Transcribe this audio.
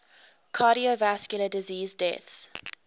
cardiovascular disease deaths